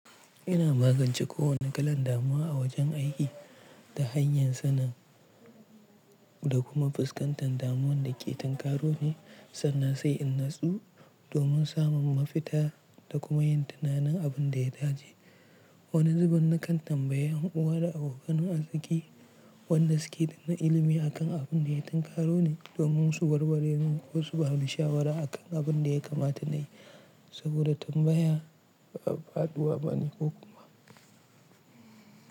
Ina magance kowane kalan damuwa a wajen aiki ta hanyar sanin da kuma fuskantar damuwan da ke tankaro ni sannan sai in natsu domin samun mafita da kuma yin tunanin abin da ya dace. Wani zubin na kan tambaya unguwa da abokan arziki wadanda suke da na ilimi akan abin da ya tankaro ni domin su warware min ko su ba ni shawara akan abin da ya kamata nayi saboda tambaya bafaduwa bane kokuma.